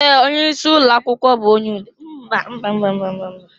Ee! Onye isi ụlọ akwụkwọ bụ onye udo.